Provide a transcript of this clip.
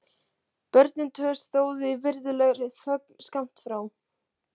Börnin tvö stóðu í virðulegri þögn skammt frá.